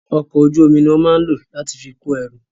Ọkọ̀ ojú omi ni wón máa ń lò láti fi kó ẹrù